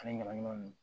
Ani ɲagaminan ninnu